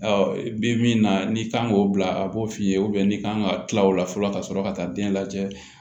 i bɛ min na ni kan k'o bila a b'o f'i ye n'i kan ka kila o la fɔlɔ ka sɔrɔ ka taa den lajɛ